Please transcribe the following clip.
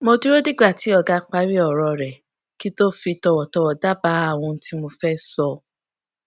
mo dúró dìgbà tí ọga parí òrò rè kí n tó fi tòwòtòwò dábàá ohun tí mo fé sọ